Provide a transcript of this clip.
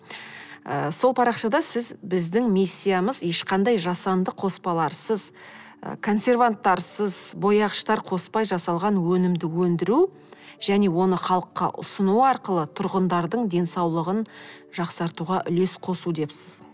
ы сол парақшада сіз біздің миссиямыз ешқандай жасанды қоспаларсыз ы консерванттарсыз бояғыштар қоспай жасалған өнімді өндіру және оны халыққа ұсыну арқылы тұрғындардың денсаулығын жақсартуға үлес қосу депсіз